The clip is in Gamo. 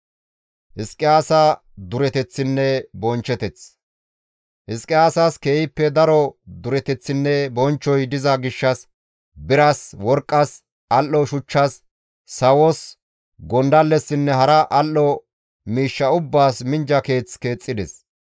Hizqiyaasas keehippe daro dureteththinne bonchchoy diza gishshas biras, worqqas, al7o shuchchas, sawos, gondallessinne hara al7o miishsha ubbaas minjja keeth keexxides.